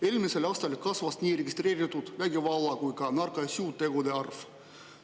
Eelmisel aastal kasvas nii registreeritud vägivalla- kui ka narkosüütegude arv.